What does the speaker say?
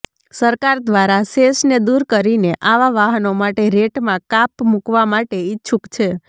સરકાર દ્વારા સેસને દૂર કરીને આવા વાહનો માટે રેટમાં કાપ મુકવા માટે ઇચ્છુક છે